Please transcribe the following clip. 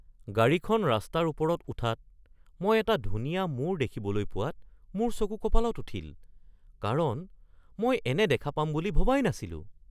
গাড়ীখন ৰাস্তাৰ ওপৰত উঠাত মই এটা ধুনীয়া মূৰ দেখিবলৈ পোৱাত মোৰ চকু কঁপালত উঠিল, কাৰণ মই এনে দেখা পাম বুলি ভবাই নাছিলো।